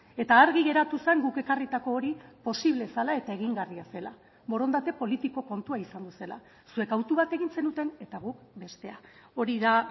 eta argi geratu zen guk ekarritako hori posible zela eta egingarria zela borondate politiko kontua izango zela zuek hautu bat egin zenuten eta guk bestea hori da